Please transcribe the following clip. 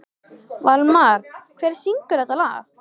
Valmar, hver syngur þetta lag?